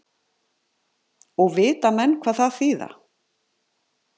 Og vita menn hvað það þýða?